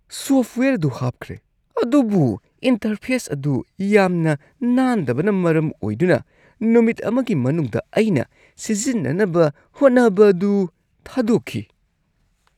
Software ꯑꯗꯨ ꯍꯥꯞꯈ꯭ꯔꯦ ꯑꯗꯨꯕꯨ ꯏꯟꯇꯔꯐꯦꯁ ꯑꯗꯨ ꯌꯥꯝꯅ ꯅꯥꯟꯗꯕꯅ ꯃꯔꯝ ꯑꯣꯏꯗꯨꯅ ꯅꯨꯃꯤꯠ ꯑꯃꯒꯤ ꯃꯅꯨꯡꯗ ꯑꯩꯅ ꯁꯤꯖꯤꯟꯅꯅꯕ ꯍꯣꯠꯅꯕꯗꯨ ꯊꯥꯗꯣꯛꯈꯤ꯫